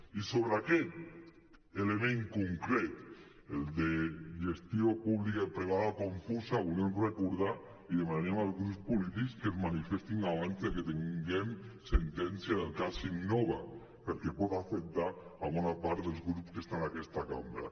i sobre aquest element concret el de gestió pública i privada confusa volíem recordar i demanaríem als grups polítics que es manifestessin abans de que tinguem sentència del cas innova perquè pot afectar bona part dels grups que estan en aquesta cambra